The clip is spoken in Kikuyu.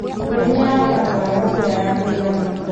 Mũrĩmi arabataraga mbura ya kũigana.